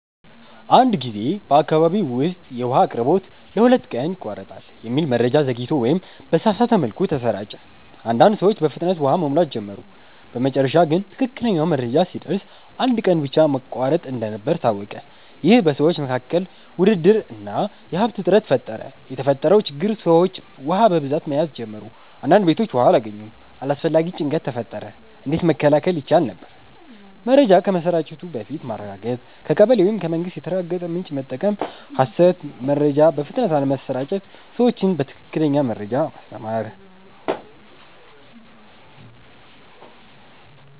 አንድ ጊዜ በአካባቢ ውስጥ “የውሃ አቅርቦት ለሁለት ቀን ይቋረጣል” የሚል መረጃ ዘግይቶ ወይም በተሳሳተ መልኩ ተሰራጨ። አንዳንድ ሰዎች በፍጥነት ውሃ መሙላት ጀመሩ በመጨረሻ ግን ትክክለኛው መረጃ ሲደርስ አንድ ቀን ብቻ መቋረጥ እንደነበር ታወቀ ይህ በሰዎች መካከል ውድድር እና የሀብት እጥረት ፈጠረ የተፈጠረው ችግር ሰዎች ውሃ በብዛት መያዝ ጀመሩ አንዳንድ ቤቶች ውሃ አላገኙም አላስፈላጊ ጭንቀት ተፈጠረ እንዴት መከላከል ይቻል ነበር? መረጃ ከመሰራጨቱ በፊት ማረጋገጥ ከቀበሌ ወይም ከመንግስት የተረጋገጠ ምንጭ መጠቀም ሐሰት መረጃ በፍጥነት አለመስራጨት ሰዎችን በትክክለኛ መረጃ ማስተማር